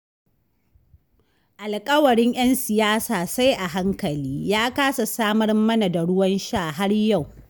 Alƙawarin 'yan siyasa sai a hankali, ya kasa samar mana da ruwan sha har yau